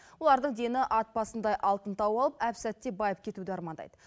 олардың дені ат басындай алтын тауып алып әп сәтте байып кетуді армандайды